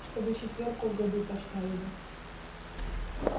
чтобы четвёрку в году поставили